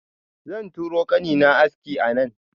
Zan turo kanina aski a nan.